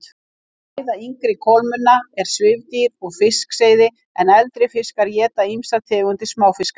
Fæða yngri kolmunna er svifdýr og fiskseiði en eldri fiskar éta ýmsar tegundir smáfiska.